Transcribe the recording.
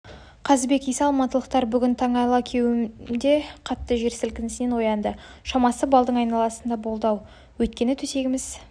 қазыбек иса алматылықтар бүгін таң алакеуімде қатты жер сілкінісінен оянды шамасы балдың айналасында болды-ау өйткені төсегіміз